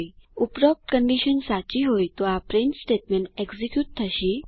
ઉપરોક્ત કન્ડીશન સાચી હોય તો આ પ્રિન્ટફ સ્ટેટમેન્ટ એક્ઝીક્યુટ થશે